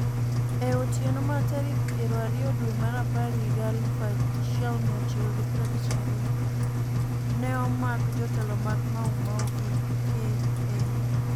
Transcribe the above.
E otieno mar tarik piero ariyo due mar apar higa 1952, ne omak jotelo mag Mau Mau gi KAU.